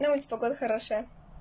на улице погода хорошая